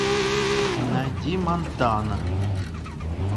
найди монтана